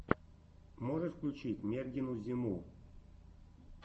можешь включить мергену зиму